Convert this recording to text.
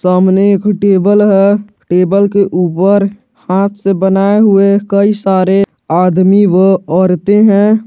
सामने एक टेबल है टेबल के ऊपर हाथ से बनाए हुए कई सारे आदमी व औरते हैं।